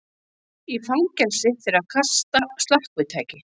Í fangelsi fyrir að kasta slökkvitæki